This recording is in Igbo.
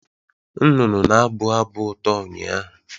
Nnụnụ na-abụ abụ ụtọ ụnyaahụ